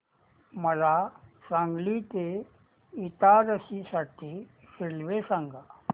मला सांगली ते इटारसी साठी रेल्वे सांगा